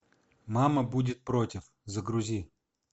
мама будет против загрузи